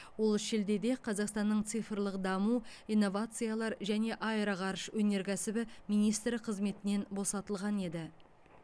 ол шілдеде қазақстанның цифрлық даму инновациялар және аэроғарыш өнеркәсібі министрі қызметінен босатылған еді